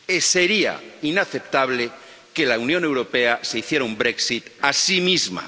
Sería inaceptable que la Unión Europea se hiciera un Brexit a sí misma.